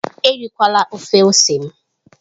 Erikwala ofe ose m!